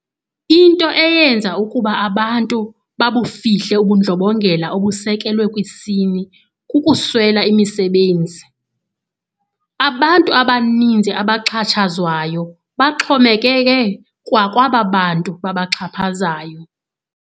Into eyenza ukuba abantu babufihle ubundlobongela obusekelwe kwisini kukuswela imisebenzi. Abantu abaninzi abaxhatshazwayo baxhomekeke kwa kwaba bantu babaxhaphazayo.